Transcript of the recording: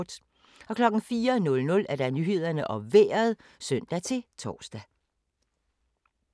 04:00: Nyhederne og Vejret (søn-tor)